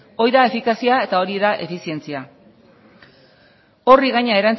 hori da efikazia eta hori da efizientzia horri gainera